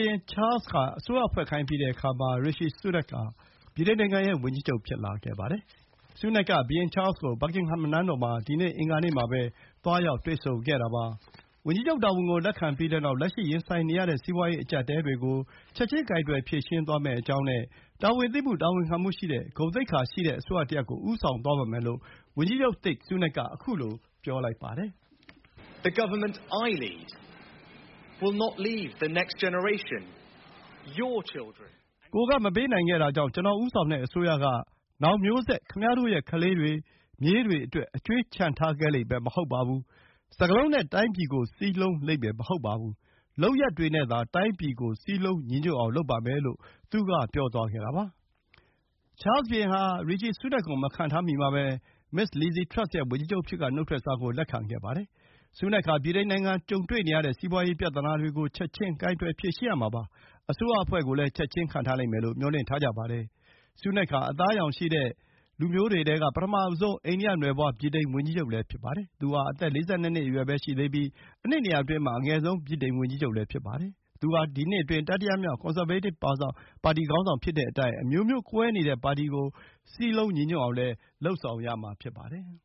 င်ချားလ်စ်က အစိုးရဖွဲ့ခိုင်းပြီးတဲ့အခါမှာ Rishi Sunak ဟာ ဗြိတိန်နိုင်ငံရဲ့ဝန်ကြီးချုပ် ဖြစ်လာခဲ့ပါတယ်။ ဆူးနက်က ဘုရင်ချားလ်စ်ကို Buckingham နန်းတော်မှာ ဒီနေ့ အင်္ဂါနေ့မှာပဲ သွားရောက်တွေ့ဆုံခဲ့တာပါ။ ဝန်ကြီးချုပ်တာဝန်ကို လက်ခံပြီးတဲ့နောက် လက်ရှိရင်ဆိုင်နေရတဲ့ စီးပွားရေး အကျပ်အတည်းတွေကို ချက်ချင်း ကိုင်တွယ်ဖြေရှင်းသွားမယ့်အကြောင်းနဲ့ တာဝန်သိမှု တာဝန်ခံမှုရှိတဲ့ ဂုဏ်သိက္ခာရှိတဲ့ အစိုးရတရပ်ကို ဦးဆောင်သွားပါမယ်လို့ ဝန်ကြီးချုပ်သစ် ဆူးနက်က ပြောပါတယ်။ “ကိုယ်ကမပေးနိုင်ခဲ့တာကြောင့် ကျနော်ဦးဆောင်တဲ့အစိုးရက နောင်မျိုးဆက်၊ ခင်ဗျားတို့ရဲ့ ခလေးတွေ၊ မြေးတွေအတွက် အကြွေးချန်ထားခဲ့လိမ့်မဟုတ်ပါဘူး။ စကားလုံးနဲ့ တိုင်းပြည်ကို စည်းလုံးလိမ့်မယ် မဟုတ်ပါဘူး။ လုပ်ရပ်တွေနဲ့ တိုင်းပြည်ကို စည်းလုံးညီညွတ်အောင် လုပ်ပါမယ်။” လို့ သူက ပြောသွားခဲ့တာပါ။ ချားလ်စ်ဘုရင်ဟာ ရီချီဆူးနက်ကို မခန့်ထားမီမှာပဲ မစ္စလစ်ဇ်ထရပ်စ်ရဲ့ ဝန်ကြီးချုပ်အဖြစ်က နုတ်ထွက်စာကို လက်ခံခဲ့ပါတယ်။ ဆူးနက်ဟာ ဗြိတိန်နိုင်ငံကြုံတွေ့နေရတဲ့ စီးပွါးရေးပြဿနာတွေကို ချက်ချင်း ကိုင်တွယ်ဖြေရှင်းရမှာပါ။ အစိုးရအဖွဲ့ကို ချက်ချင်း ခန့်ထားလိမ့်မယ်လို့ မျှော်လင့်ထားကြပါတယ်။ ဆူးနက်ဟာ အသားအရောင်ရှိတဲ့လူမျိုးတွေထဲက ပထမဆုံး အိန္ဒိယနွယ်ဖွါး ဗြိတိန်ဝန်ကြီးချုပ်လည်း ဖြစ်ပါတယ်။ သူဟာ အသက် ၄၂ နှစ်ပဲရှိသေးပြီး အနှစ် ၂၀၀ အတွင်းမှာ အငယ်ဆုံး ဗြိတိန်ဝန်ကြီးချုပ်လည်း ဖြစ်ပါတယ်။ သူဟာ ဒီနှစ်အတွင်း တတိယမြောက် ကွန်ဆာဗေးတစ်ပါတီ ခေါင်းဆောင် ဖြစ်တဲ့အတိုင်း အမျိုးမျိုးကွဲနေတဲ့ပါတီကို စည်းလုံးညီညွတ်အောင်လည်း လုပ်ဆောင်ရမှာဖြစ်ပါတယ်